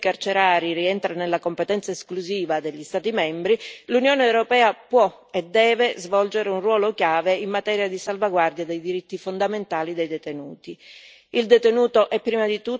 E se pure la gestione dei sistemi carcerari rientra nella competenza esclusiva degli Stati membri, l'Unione europea può e deve svolgere un ruolo chiave in materia di salvaguardia dei diritti fondamentali dei detenuti.